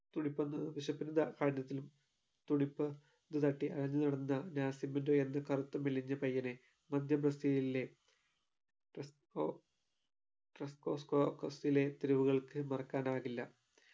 തുടിപ്പൊന്ന് വിശപ്പിന്റെ കാ കാഠിന്യത്തിലും തുടിപ് ഒന്ന് തട്ടി അയഞ്ഞു നടന്നതാ നാസിമിൻറ്റൊ എന്ന കറുത്ത മെലിഞ്ഞ പയ്യനെ മധ്യ ബ്രസീലിലെ ട്രസ്‌കോ ട്രസ് കോസ്‌കോകസിലെ തെരുവുകൾക്ക് മറക്കാനാകില്ല